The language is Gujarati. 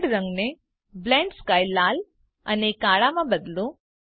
વર્લ્ડ રંગને બ્લેન્ડ સ્કાય લાલ અને કાળામાં બદલો